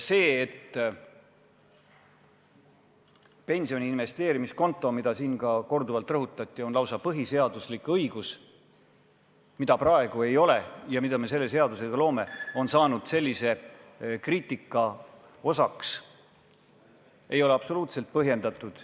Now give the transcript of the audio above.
See, et pensioni investeerimiskonto, mida siin korduvalt on rõhutatud, on lausa põhiseaduslik õigus, mida praegu ei ole ja mille me selle seadusega loome, on saanud sellise kriitika osaliseks, ei ole absoluutselt põhjendatud.